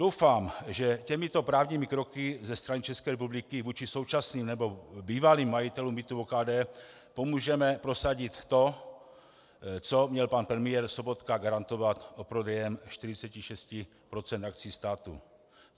Doufám, že těmito právními kroky ze strany České republiky vůči současným nebo bývalým majitelům bytů OKD pomůžeme prosadit to, co měl pan premiér Sobotka garantovat u prodeje 46 % akcií státu.